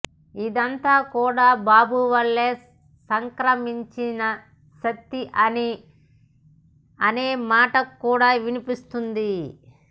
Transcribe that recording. ఇదంతా కూడా బాబు వల్ల సంక్రమించిన శక్తి అని అనే మాట కూడా వినిపిస్తోంది